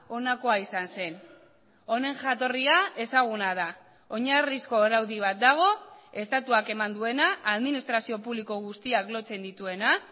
honakoa izan zen honen jatorria ezaguna da oinarrizko araudi bat dago estatuak eman duena administrazio publiko guztiak lotzen dituena